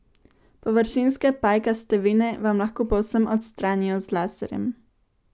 Površinske, pajkaste vene vam lahko povsem odstranijo z laserjem.